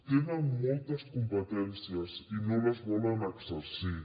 tenen moltes competències i no les volen exercir